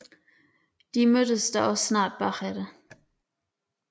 De mødtes da også snart bagefter